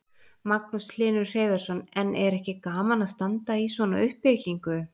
Magnús Hlynur Hreiðarsson: En er ekki gaman að standa í svona uppbyggingu?